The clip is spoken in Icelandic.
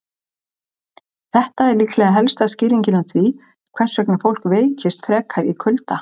Þetta er líklega helsta skýringin á því hvers vegna fólk veikist frekar í kulda.